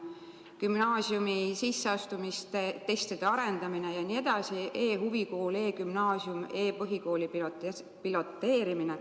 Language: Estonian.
Teemaks on veel gümnaasiumi sisseastumistestide arendamine, e-huvikool, e-gümnaasium, e-põhikooli piloteerimine.